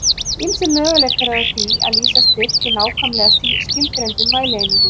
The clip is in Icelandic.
Ýmsir möguleikar eru á því að lýsa styrk í nákvæmlega skilgreindum mælieiningum.